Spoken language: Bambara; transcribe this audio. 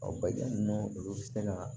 Ɔ baji ninnu olu bɛ se ka